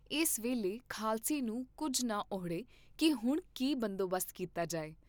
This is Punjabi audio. ਇਸ ਵੇਲੇ ਖਾਲਸੇ ਨੂੰ ਕੁੱਝ ਨਾ ਅਹੁੜੇ ਕੀ ਹੁਣ ਕੀ ਬੰਦੋਬਸਤ ਕੀਤਾ ਜਾਏ।